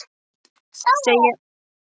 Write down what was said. Segja um skrípaleik að ræða